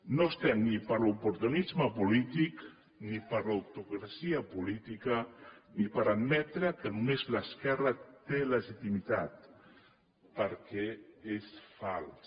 no estem ni per a l’oportunisme polític ni per a la hipocresia política ni per admetre que només l’esquerra té legitimitat perquè és fals